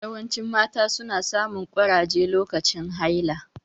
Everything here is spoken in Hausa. Yawancin mata su na samun ƙurage lokacin haila